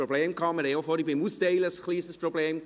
Wir hatten auch vorhin, beim Austeilen, ein kleines Problem: